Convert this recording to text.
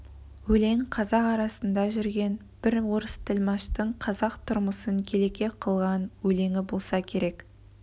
өлең қазақ арасында жүрген бір орыс тілмаштың қазақ тұрмысын келеке қылған өлеңі болса керек